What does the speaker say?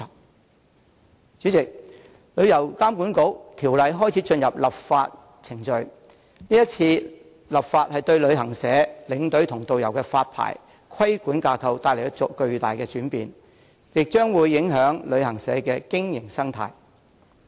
代理主席，有關旅遊監管局的條例已開始進入立法程序，是次立法工作將對旅行社、領隊和導遊的發牌和規管架構帶來巨大轉變，亦將會影響旅行社的經營生態。